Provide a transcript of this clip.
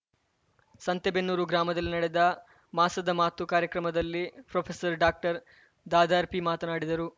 ಸಂತೆಬೆನ್ನೂರು ಗ್ರಾಮದಲ್ಲಿ ನಡೆದ ಮಾಸದ ಮಾತು ಕಾರ್ಯಕ್ರಮದಲ್ಲಿ ಪ್ರೊಪೆಸರ್ ಡಾಕ್ಟರ್ ದಾದಾರ್ಪಿ ಮಾತನಾಡಿದರು